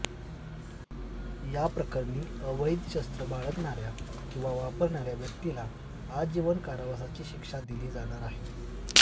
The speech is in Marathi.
या प्रकरणी अवैध शस्र बाळगणाऱ्या किंवा वापरणाऱ्या व्यक्तीला आजीवन कारावासाची शिक्षा दिली जाणार आहे